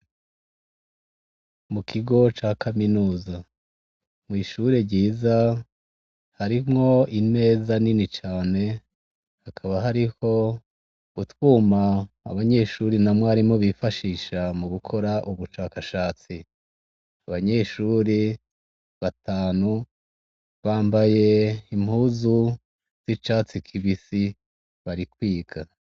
Mu kigo ca kaminuza. Mw'ishure ryiza, harimwo imeza nini cane, hakaba hariho utwuma abanyeshuri na mwarimu bifashisha mu gukora ubushakashatsi. Abanyeshuri batanu, bambaye impuzu z'icatsi kibisi, bari kwiga.